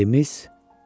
Dilimiz.